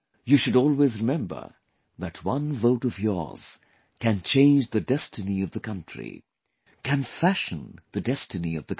You should always remember that one vote of yours can change the destiny of the country; can fashion the destiny of the country